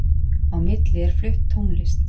Á milli er flutt tónlist